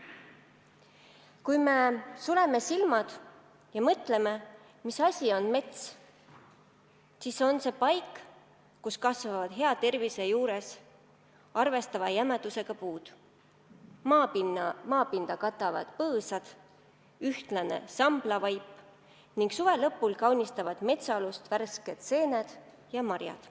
Kui me suleme silmad ja mõtleme, mis asi on mets, siis see on paik, kus kasvavad hea tervise juures arvestatava jämedusega puud, maapinda katavad põõsad ja ühtlane samblavaip ning suve lõpus kaunistavad metsaalust seened ja marjad.